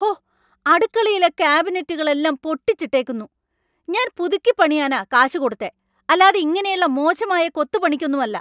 ഹോ അടുക്കളയിലെ കാബിനെറ്റുകളെല്ലാം പൊട്ടിച്ചിട്ടേക്കുന്നു, ഞാൻ പുതുക്കിപ്പണിയാനാ കാശ് കൊടുത്തേ; അല്ലാതെ ഇങ്ങനെയുള്ള മോശമായ കൊത്തു പണിക്കൊന്നുമല്ല.